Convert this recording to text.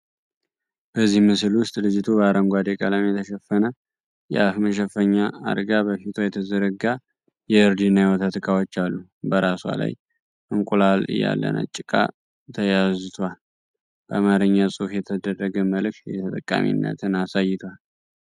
በዚህ ምስል ውስጥ ልጅቱ በአረንጓዴ ቀለም የተሸፈነ የአፍ መሸፈኛ አርጋ በፊቷ የተዘረጋ የእርድ እና የወተት እቃዎች አሉ። በራሷ ላይ እንቁላል ያለ ነጭ እቃ ተያዝቷል። በአማርኛ ጽሑፍ የተደረገ መልእክት የተጠቃሚነትን አሳይቷል።